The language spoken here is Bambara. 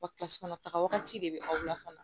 Wa kilasi kɔnɔntɔn de bɛ aw la fana